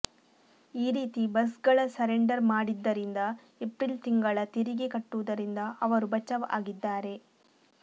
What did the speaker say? ಈ ರೀತಿ ಬಸ್ಗಳ ಸರೆಂಡರ್ ಮಾಡಿದ್ದರಿಂದ ಏಪ್ರಿಲ್ ತಿಂಗಳ ತೆರಿಗೆ ಕಟ್ಟುವುದರಿಂದ ಅವರು ಬಚಾವ್ ಆಗಿದ್ದಾರೆ